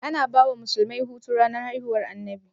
Ana bawa musulmai Hutu ranar haihuwar annabi?